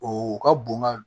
O ka bon ka